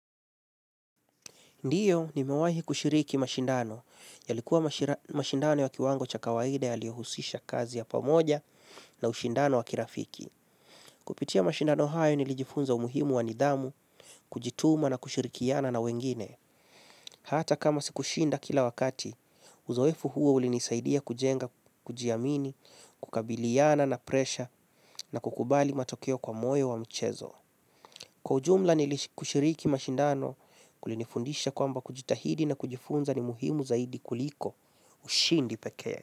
Ndiyo nimewahi kushiriki mashindano, yalikuwa mashindano ya kiwango cha kawaida yaliyohusisha kazi ya pamoja na ushindano wa kirafiki. Kupitia mashindano hayo nilijifunza umuhimu wa nidhamu, kujituma na kushirikiana na wengine. Hata kama sikushinda kila wakati, uzoefu huo ulinisaidia kujenga, kujiamini, kukabiliana na presha na kukubali matokeo kwa moyo wa mchezo. Kwa ujumla ni kushiriki mashindano kulinifundisha kwamba kujitahidi na kujifunza ni muhimu zaidi kuliko ushindi pekee.